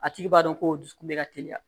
A tigi b'a dɔn ko dusukun bɛ ka teliya